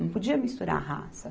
Não podia misturar a raça.